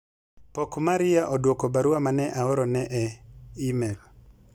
pok Maria odwoko barua mane aorone e email